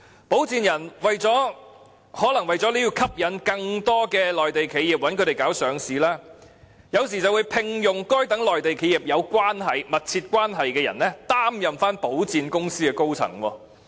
保薦人更可能為了吸引更多內地企業委託他們處理上市事宜，而聘用與該等內地企業有密切關係的人，擔任保薦公司高層。